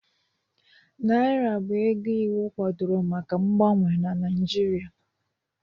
Naira bụ ego iwu kwadoro maka mgbanwe na Naijiria